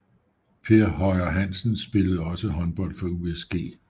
Per Høyer Hansen spillede også håndbold for USG